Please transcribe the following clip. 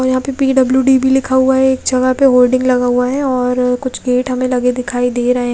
यहाँ पे P_ W_ D भी लिखा हुआ है जहा पे होर्डिंग लगा हुआ है और कुछ गेट हमे लगे दिखाई दे रहे है।